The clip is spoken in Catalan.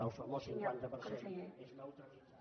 el famós cinquanta per cent és neutralitzat